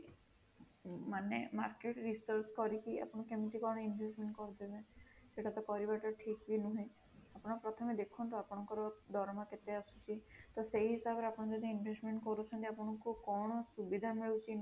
ମାନେ market research କରିକି ଆପଣ କେମିତି କଣ investment କରୁଛନ୍ତି ସେଇଟା ତ କରିବା ଟା ଠିକ ବି ନୁହେଁ ଆପଣ ପ୍ରଥମେ ଦେଖନ୍ତୁ ଆପଣଙ୍କର ଦରମା କେତେ ଆସୁଛି ତ ସେଇ ହିସାବରେ ଆପଣ ଯଦି investment କରୁଛନ୍ତି ଆପଣଙ୍କୁ କଣ ସୁବିଧା ମିଳୁଛି